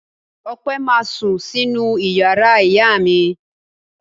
Ọpẹ́ ma sún sínú ìyàrá ìyá mi.